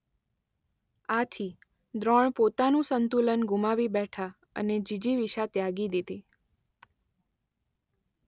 આથી દ્રોણ પોતાનું સંતુલન ગુમાવી બેઠા અને જીજીવિષા ત્યાગી દીધી.